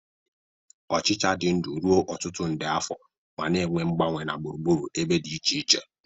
Ochịcha dị ndụ ruo ọtụtụ nde afọ ma na-eme mgbanwe na gburugburu ebe dị iche iche.